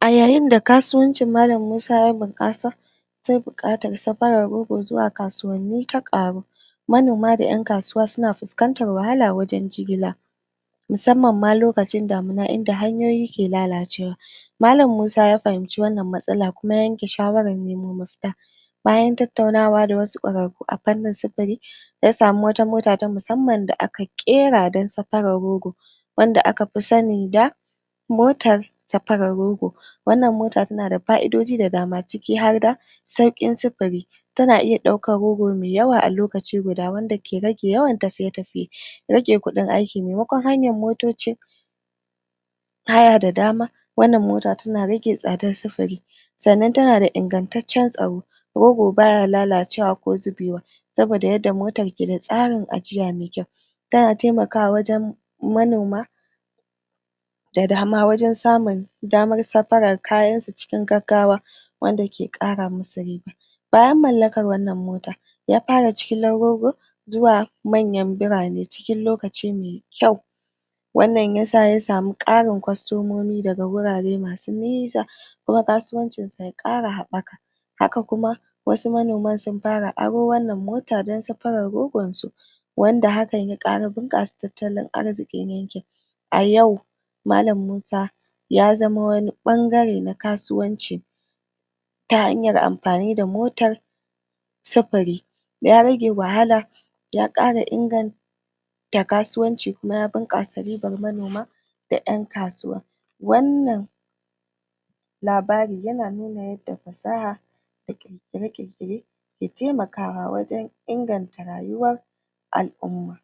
a yayin da kasuwancin malam musa ya bunkasa sai buƙatar safarar rogo zuwa kasuwanni ya ƙaru manoma da ƴan kasuwa suna fuskantar wahala gurin jigila musamman lokacin damuna inda hanyoyi ke lalacewa malam musa ya fahimci wannan matsalar kuma ya yanke shawarar nemo mafita bayan tattaunawa da wasu ƙwararru a fannin sufiri ya samu wata mota ta musamman da aka ƙira dan safarar rogo wanda akafi sani da motar safarar rogo wannan mota tana da fa'idoji da dama ciki harda sauƙin sufuri tana iya ɗaukan rogo me yawa a lokaci guda wanda tana iya ɗaukan rogo me yawa a lokaci guda ke yawan rage tafiye tafiye rage ƙudin aiki memakon hanyar motoci haya da dama wannan mota tana rage tsadar sufuri sannan tana da ingantaccan tsaro rogo baya lalacewa ko zubewa saboda yanda motar ke da tsarin ajiya me kyau tana taimakawa wajan manona da dama wajan samun damar safarar kayansu cikin gaggawa wanda ke ƙara musu riba bayan mallakan wannan mota ya fara jigilar rogo zuwa manyan birane cikin lokaci me ƙyau wannan yasa ya samu ƙarin ƙwastomomi daga gurare masu nisa kuma kasuwancinsa ya ƙara habaka haka kuma wasu manoma sun fara aro wannan mota mota dan safarar rogonsu wanda hakan ya ƙara bunƙasa tattalin arzikin yankin a yau malam musa ya zama wani ɓangare na kasuwanci ta hanyar amfani da motar sifiri ya rage wahala ya ƙara ingan ta kasuwanci kuma ta kasuwanci kuma ya ta kasuwanci kuma ya bunƙasa ribar manoma da ƴan kasuwa wannan labarin yana labarin yana nuna yanda fasaha ƙirƙira ƙirƙire da taimakawa wajan inganta rayuwa inganta rayuwar al'uma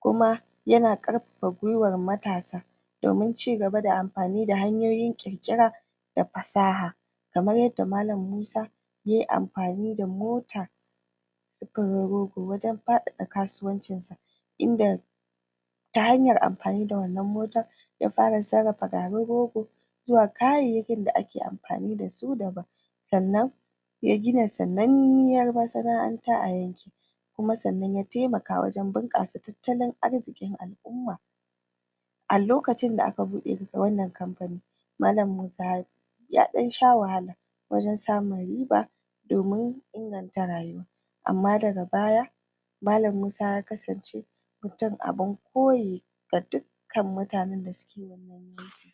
kuma yana ƙarfafa gwiwar matasa domin cigaba da amfani da hanyoyin ƙirƙira da fasaha kamar yanda malam musa yayi amfani da mota tar rogo wajan faɗaɗa kasuwancinsa inda ta hanyar amfani da wannan motar ya fara sarrafa garin rogo zuwa kayayyakin da ake amfani dasu daban sannan ya gina sananniyar masana'anta a yankin sannan kuma y taimaka gurin bun kuma sannan y taimaka gurin bunkasa tattalin arzikin al'uma a lokacin da aka buɗe na wannan lokaci malam musa yaɗan sha wahala wajan samun riba domin inganta rayuwa amma daga baya malam musa ya kasance mutum abun koye ga dukkan mutanan da suke